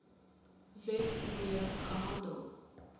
wet mee gehandel